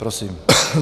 Prosím.